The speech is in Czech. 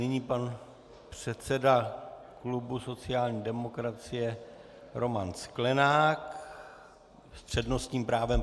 Nyní pan předseda klubu sociální demokracie Roman Sklenák s přednostním právem.